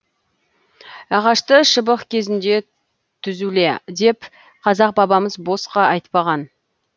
ағашты шыбық кезінде түзуле деп қазақ бабамыз босқа айтпаған